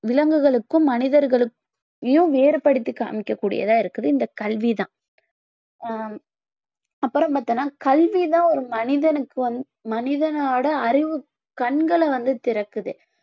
விலங்குகளுக்கும் மனிதர்களயும் வேறுபடுத்தி காமிக்க கூடியதா இருக்குது இந்த கல்வி தான் ஆஹ் அப்புறம் பார்த்தோம்னா கல்வி தான் ஒரு மனிதனுக்கு வந்~ மனிதனோட அறிவுக் கண்களை வந்து திறக்குது